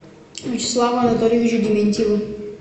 вячеславу анатольевичу дементьеву